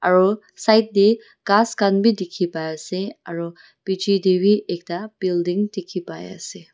aro side tae ghas khan bi dikhipai ase aro bichae tae bi ekta building dikhi paiase.